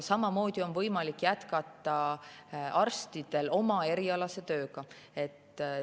Samamoodi on võimalik arstidel jätkata oma erialast tööd.